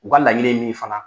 U ka laɲini ye min ye fana